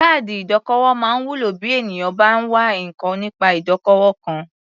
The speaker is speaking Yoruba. Káàdì ìdókòwó máa ń wúlò bí ènìyàn bá ń wá nǹkan nípa ìdókòwò kan.